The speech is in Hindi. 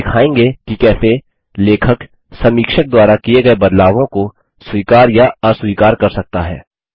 अब हम दिखायेंगे कि कैसे लेखक समीक्षक द्वारा किये गये बदलावों को स्वीकार या अस्वीकार कर सकता है